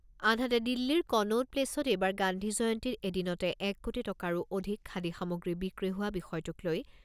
আনহাতে দিল্লীৰ কনৌত প্লেচত এইবাৰ গান্ধী জয়ন্তীত এদিনতে এক কোটি টকাৰো অধিক খাদী সামগ্ৰী বিক্ৰী হোৱা বিষয়টোক লৈ